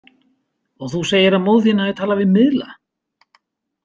Og þú segir að móðir þín hafi talað við miðla?